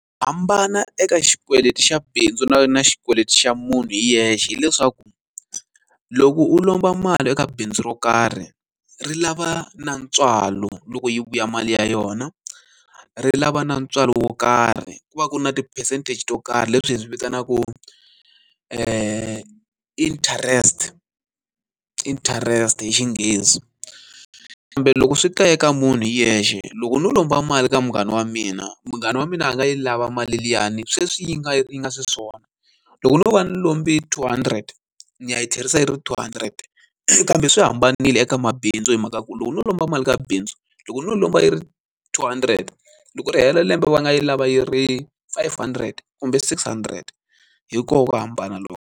Hambana eka xikweleti xa bindzu na na ri na xikweleti xa munhu hi yexe hileswaku, loko u lomba mali eka bindzu ro karhi ri lava na ntswalo loko yi vuya mali ya yona. Ri lava na ntswalo wo karhi, ku va ku ri na ti-percentage to karhi leswi hi swi vitanaku interest interest hi xinghezi. Kambe loko swi ka eka munhu hi yexe, loko no lomba mali eka munghana wa mina, munghana wa mina a nga yi lava mali liyani sweswi yi nga yi nga xiswona. Loko no va ni lombe two hundred, ni ya yi tlherisa yi ri two hundred. Kambe swi hambanile eka mabindzu hi mhaka ku loko no lomba mali ka bindzu, loko no lomba yi ri two hundred loko ri hela lembe va nga yi lava yi ri five hundred kumbe six hundred. Hi kona ku hambana loku.